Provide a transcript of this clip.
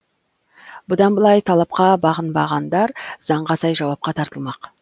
бұдан былай талапқа бағынбағандар заңға сай жауапқа тартылмақ